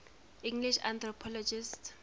english anthropologists